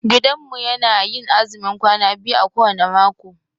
Gidanmu yana yin azumin kwana biyu a kowane mako.